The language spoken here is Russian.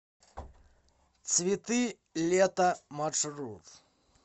цветы лета маршрут